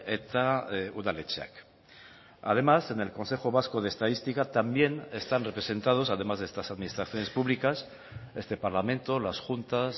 eta udaletxeak además en el consejo vasco de estadística también están representados además de estas administraciones públicas este parlamento las juntas